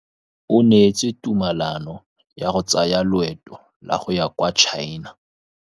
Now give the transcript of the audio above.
O neetswe tumalanô ya go tsaya loetô la go ya kwa China.